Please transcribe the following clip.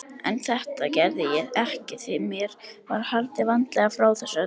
En þetta gerði ég ekki því mér var haldið vandlega frá þessu öllu.